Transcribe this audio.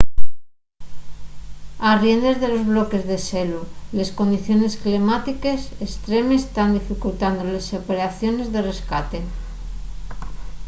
arriendes de los bloques de xelu les condiciones climátiques estremes tán dificultando les operaciones de rescate